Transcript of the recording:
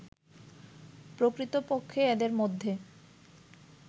প্রকৃতপক্ষে এদের মধ্যে